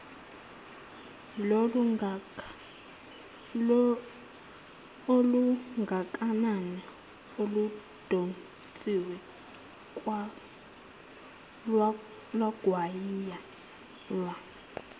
olungakanani oludonsiwe lwagwinywa